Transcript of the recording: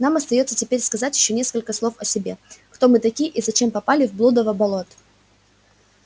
нам остаётся теперь сказать ещё несколько слов о себе кто мы такие и зачем попали в блудово болото